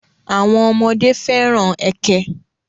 àwọn ọmọdé fẹ́ràn ẹkẹ.